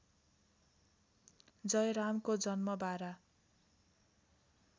जयरामको जन्म बारा